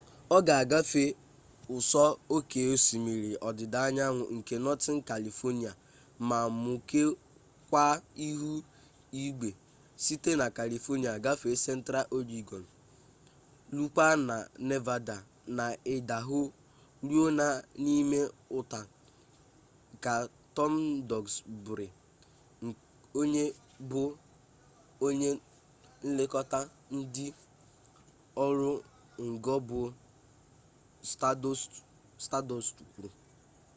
ọ ga agafe ụsọ oke osimiri ọdịda anyanwụ nke northern kalifonia ma mukekwaa ihu igwe site na kalifonia gafee central ọregọn rukwaa na nevada na idaho ruo n'ime utah ka tom duxbury onye bụ onye nlekọta ndị ọrụ ngo bụ staadọst kwuru